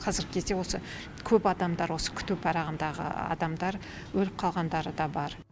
қазіргі кезде осы көп адамдар осы күту парағындағы адамдар өліп қалғандары да бар